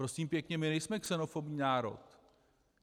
Prosím pěkně, my nejsme xenofobní národ.